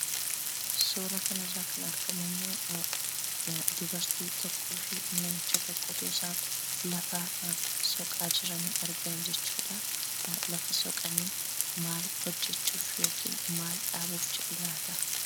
Suuraa kanarraa kan argamu immoo dubartii tokkoo fi namicha tokkotu otoo isaan lafa soqaa jiranii argina jechuudha. Lafa soqanii maal hojjechuufi yookiin maal dhaabuuf jedhu laataa?